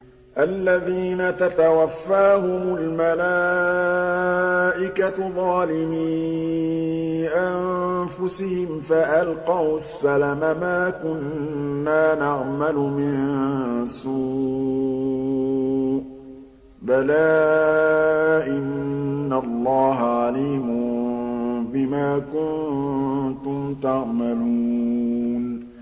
الَّذِينَ تَتَوَفَّاهُمُ الْمَلَائِكَةُ ظَالِمِي أَنفُسِهِمْ ۖ فَأَلْقَوُا السَّلَمَ مَا كُنَّا نَعْمَلُ مِن سُوءٍ ۚ بَلَىٰ إِنَّ اللَّهَ عَلِيمٌ بِمَا كُنتُمْ تَعْمَلُونَ